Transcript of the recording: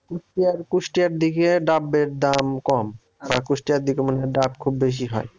কুষ্টিয়ার কুষ্টিয়ার দিকে ডাবের দাম কম বা কুষ্টিয়ার দিকে মনে হয় ডাব খুব বেশি হয়।